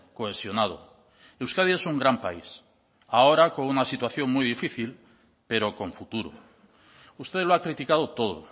cohesionado euskadi es un gran país ahora con una situación muy difícil pero con futuro usted lo ha criticado todo